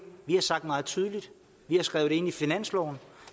vi har sagt meget tydeligt vi har skrevet det ind i finansloven